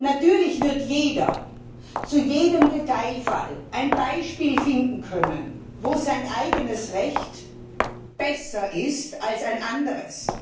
Natürlich wird jeder zu jedem Detailfall ein Beispiel finden können, wo sein eigenes Recht besser ist als ein anderes.